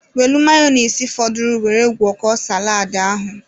Welụ mayonise fọdụrụ were gwọkọọ saladị ahụ.